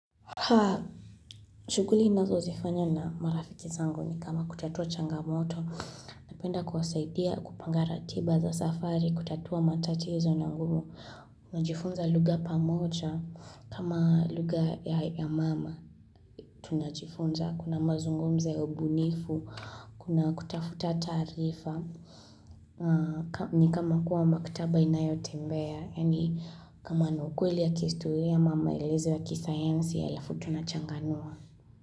Haa, shughuli ninazozifanyo na marafiki zangu ni kama kutatua changamoto, napenda kuwasaidia kupanga ratiba za safari, kutatua matatizo na ngumu, najifunza lugha pamoja, kama lugha ya mama, tunajifunza, kuna mazungumzo ubunifu, kuna kutafuta taarifa, ni kama kuwa maktaba inayotembea, yani kama na kweli ya kihistoria ama maelezo ya kisayansi alafu tunachanganua.